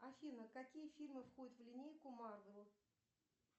афина какие фильмы входят в линейку марвел